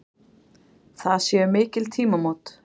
Það séu mikil tímamót.